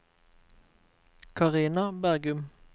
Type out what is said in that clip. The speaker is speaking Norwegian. Carina Bergum